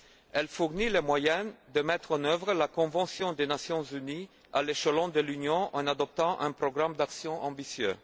Elle fournit les moyens de mettre en œuvre la convention des Nations unies à l'échelon de l'Union en adoptant un programme d'action ambitieux.